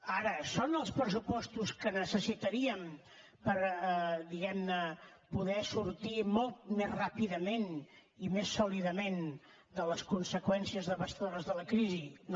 ara són els pressupostos que necessitaríem per diguem ne poder sortir molt més ràpidament i més sòlidament de les conseqüències devastadores de la crisi no